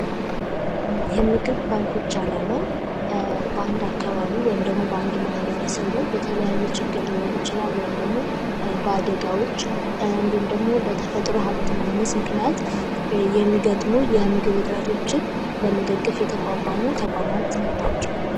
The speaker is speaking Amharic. የምግብ ባንኮች አላማ ባንድ አካባቢ ወይም ደሞ በአንድ ማህበረሰብ ላይ በተለያየ ችግር ሊሆን ይችላል ወይም ደሞ በአደጋዎች ደግሞ በተፈጥሮ ሃብት ማጠር የሚገጥመው የምግብ እጥረቶችን ለመደገፍ የተቋቋሙ ተቋማት ናቸው።